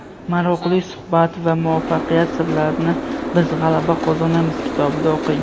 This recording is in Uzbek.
Maroqli suhbat va muvaffaqiyat sirlarini "Biz g‘alaba qozonamiz" kitobida o‘qing.